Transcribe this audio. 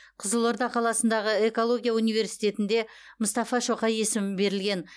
қызылорда қаласындағы экология университетінде мұстафа шоқай есімі берілген